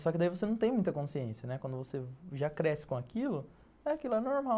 Só que daí você não tem muita consciência, né, quando você já cresce com aquilo, aquilo é normal.